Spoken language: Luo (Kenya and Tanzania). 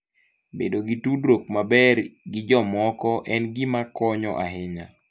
Bedo gi tudruok maber gi jomoko en gima konyo ahinya.